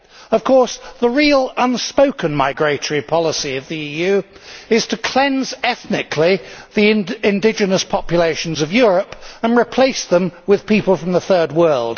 Of course, the real unspoken migratory policy of the EU is to cleanse ethnically the indigenous populations of Europe and replace them with people from the Third World.